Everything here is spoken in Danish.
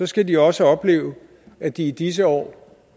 skal de også opleve at de i disse år